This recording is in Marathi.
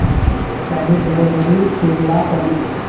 त्यानेच घरोघरी शिरला कली।